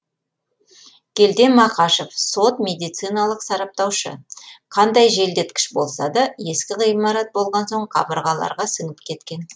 келден мақашев сот медициналық сараптаушы қандай желдеткіш болса да ескі ғимарат болған соң қабырғаларға сіңіп кеткен